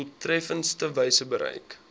doeltreffendste wyse bereik